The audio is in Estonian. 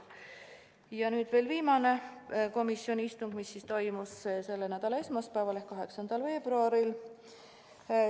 Ja nüüd veel viimane komisjoni istung, mis toimus selle nädala esmaspäeval ehk 8. veebruaril.